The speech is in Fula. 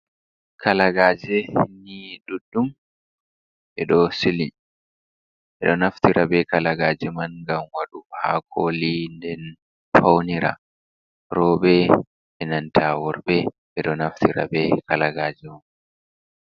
Kalagaje ni duddum edo naftira be kalagaji man ngan waɗa hakoli nden faunira robe, enanta worbe. Ɓedo naftira be kalagaji man.